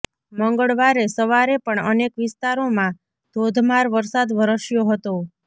મંગળવારે સવારે પણ અનેક વિસ્તારોમાં ધોધમાર વરસાદ વરસ્યો હતો